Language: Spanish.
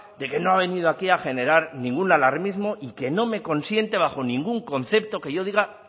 de que no ha venido aquí a generar ningún alarmismo y que no me consiente bajo ningún concepto que yo diga